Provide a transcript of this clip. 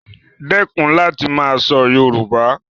Dẹ́kun láti máa sọ Yoruba